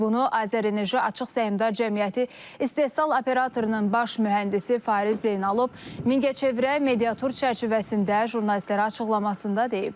Bunu Azər Enerji Açıq Səhmdar Cəmiyyəti İstehsal Operatorunun baş mühəndisi Fariz Zeynalov Mingəçevirə mediatur çərçivəsində jurnalistlərə açıqlamasında deyib.